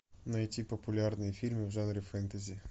найти популярные фильмы в жанре фэнтези